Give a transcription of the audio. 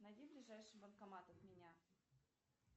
найди ближайший банкомат от меня